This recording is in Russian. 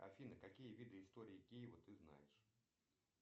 афина какие виды истории киева ты знаешь